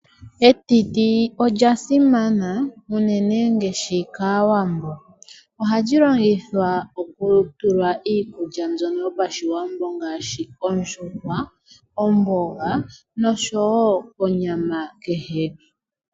Etitit olya simana, unene ngaashi kaawambo. Ohali longithwa okutulwa iikulya mbyono yopashiwambo ngaashi ondjuhwa, omboga, noshowo onyama kehe.